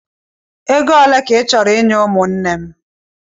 Ego ole ka ị chọrọ inye ụmụnne m?